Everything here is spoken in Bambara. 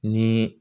Ni